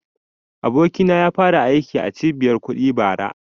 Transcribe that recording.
Abokina ya fara aiki a cibiyar kuɗi bara